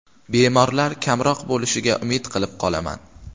Bemorlar kamroq bo‘lishiga umid qilib qolaman.